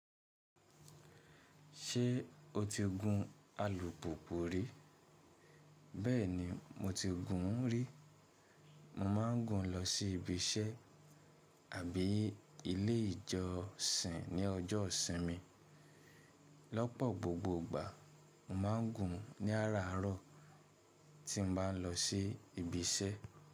Ṣé o ti gun alùpùpù rí? Bẹ́ẹ̀ni, mo ti gùn ún rí. Mo máa ń gùn ún lọ sí ibi iṣẹ́ àbí ilé ìjọsìn ní ọjọ́ ìsinmi. Lọ́pọ̀ gbogbo ìgbà, mo máa ń gùn ún ní àràárọ̀ tí mo bá ń lọ sí ibi iṣẹ́.